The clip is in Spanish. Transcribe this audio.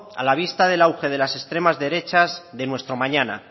a la vista del auge de las extremas derechas de nuestro mañana